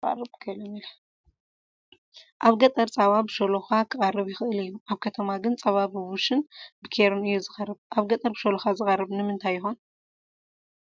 ኣብ ገጠር ፃባ ብሾሎኻ ክቐርብ ይኽእል እዩ፡፡ ኣብ ከተማ ግን ፀባ ብቡሽን ብኬሪን እዩ ዝቐርብ፡፡ ኣብ ገጠር ብሾሎኻ ዝቐርብ ንምንታይ ይኾን?